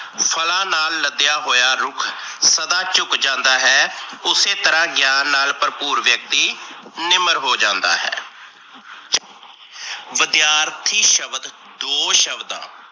ਫਲਾਂ ਨਾਲ ਲੱਦਿਆ ਹੋਇਆ ਰੁੱਖ ਸਦਾ ਝੁਕ ਜਾਂਦਾ ਹੈ। ਉਸੇ ਤਰਾਂ ਗਿਆਨ ਨਾਲ ਭਰਪੂਰ ਵਿਅਕਤੀ ਨਿਮਰ ਹੋ ਜਾਂਦਾ ਹੈ । ਵਿੱਦਿਆਰਥੀ ਸ਼ਬਦ ਦੋ ਸ਼ਬਦਾਂ,